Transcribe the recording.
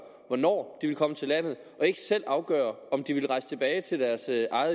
hvornår de vil komme til landet og ikke selv afgør om de vil rejse tilbage til deres